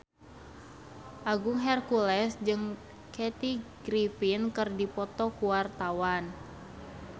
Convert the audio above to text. Agung Hercules jeung Kathy Griffin keur dipoto ku wartawan